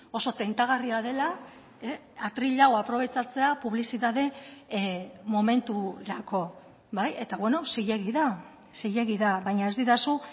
oso tentagarria dela atril hau aprobetxatzea publizitate momenturako bai eta zilegi da zilegi da baina ez didazu